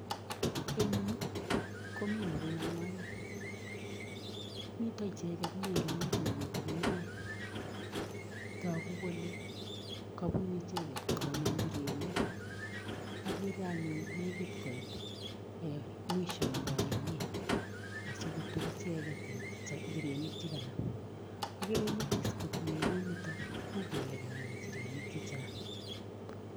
Eng yuu komii Mureen angwenuu miten ichegeet meliit nekitikiin taguu kole kabunu ichegeet koname injirenik ak ye agere anyuun nekiit koit mwisho nebo ainet asikoruur ichegeet injurenik che kanam agere nyigis koot meliit nitoon uu kele kanam injerenik che chaang.